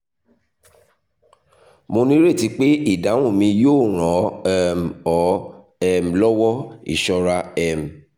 mo nireti pe idahun mi yoo ran ọ um ọ um lọwọ ṣọra um